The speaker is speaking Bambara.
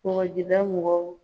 Kɔgɔjida mɔgɔw